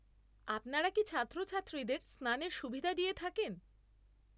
আপনারা কি ছাত্রছাত্রীদের স্নানের সুবিধা দিয়ে থাকেন?